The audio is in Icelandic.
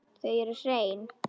Þau eru hrein.